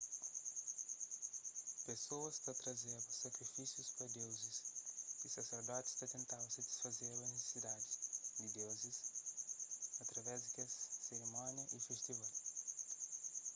pesoas ta trazeba sakrifisius pa deuzis y saserdotis ta tentaba satisfazeba nisisidadis di deuzis através di kes sirimónia y festival